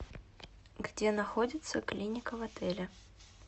где находится клиника в отеле